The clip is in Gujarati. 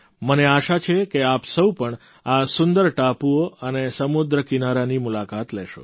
મને આશા છે કે આપ સૌ પણ આ સુંદર ટાપુઓ અને સમુદ્રકિનારાની મુલાકાત લેશો